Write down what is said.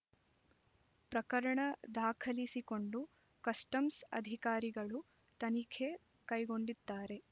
ಪ್ರಕರಣ ದಾಖಲಿಸಿಕೊಂಡು ಕಸ್ಟಮ್ಸ್ ಅಧಿಕಾರಿಗಳು ತನಿಖೆ ಕೈಗೊಂಡಿದ್ದಾರೆ